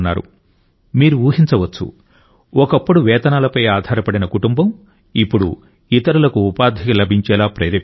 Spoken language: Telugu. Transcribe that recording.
మీరు ఊహించవచ్చు ఒకప్పుడు వేతనాలపై ఆధారపడిన కుటుంబం ఇప్పుడు ఇతరులకు ఉపాధి లభించేలా ప్రేరేపిస్తోంది